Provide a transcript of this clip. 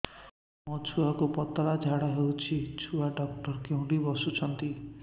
ମୋ ଛୁଆକୁ ପତଳା ଝାଡ଼ା ହେଉଛି ଛୁଆ ଡକ୍ଟର କେଉଁଠି ବସୁଛନ୍ତି